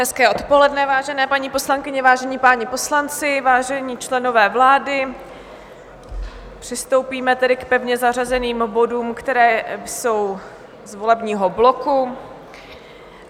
Hezké odpoledne, vážené paní poslankyně, vážení páni poslanci, vážení členové vlády, přistoupíme tedy k pevně zařazeným bodům, které jsou z volebního bloku.